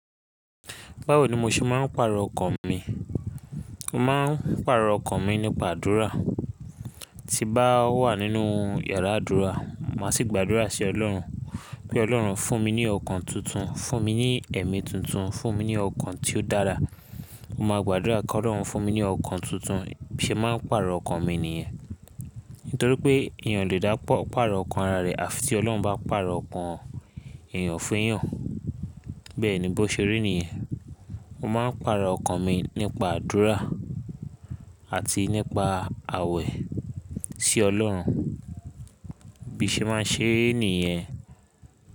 Báwo ni mo ṣe máa ń pàrọ̀ ọkàn mi? Mo máa ń pàrọ̀ ọkàn mi nípa àdúrà. Tí bá wà nínú iyàrá àdúrà, màá sì gbàdúrà sí Ọlọ́run pé Ọlọ́run fún mi ní ọkàn tuntun, fún mi ní ẹ̀mí tuntun, fún mi ní ọkàn tí ó dára. Mo máa gbàdúrà kí Ọlọ́run fún mi ní ọkàn tuntun ṣe máa ń pàrọ̀ ọkàn mi nìyẹn. Nítorí pé èèyàn o lè dá pàrọ̀ ọkàn ara rẹ̀ àfi tí Ọlọ́run bá pàrọ̀ ọkàn èèyàn fẹ́yàn. Bẹ́ẹ̀ ni bó ṣe rí nìyẹn. Mo máa ń pàrọ̀ ọkàn mi nípa àdúrà àti nípa àwẹ̀ sí Ọlọ́run bí ṣe máa ń ṣe níyẹn.